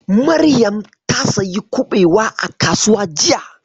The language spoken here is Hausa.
Maryam ta sayi kuɓewa a kasuwa jiya.